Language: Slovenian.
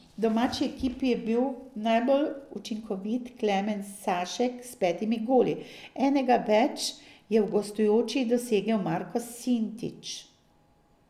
V domači ekipi je bil najbolj učinkovit Klemen Sašek s petimi goli, enega več je v gostujoči dosegel Marko Sintič.